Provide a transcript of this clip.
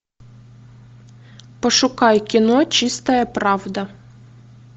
пошукай кино чистая правда